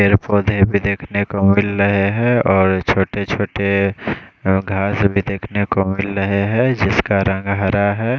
पेड़ पौधे भी देखने को मिल रहे है और छोटे छोटे घास भी देखने को मिल रहे है जिसका रंग हरा है।